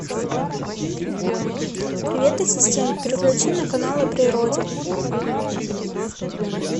привет ассистент переключи на канал о природе